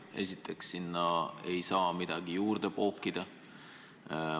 Esiteks, sinna ei saa midagi juurde pookida.